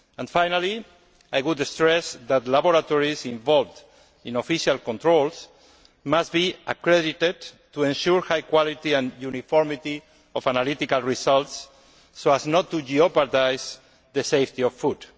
Finally, I would stress that laboratories involved in official controls must be accredited to ensure high quality and uniformity of analytical results so as not to jeopardise the safety of food.